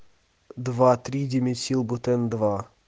два-три димесилбутен два